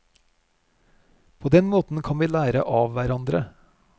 På den måten kan vi lære av hverandre.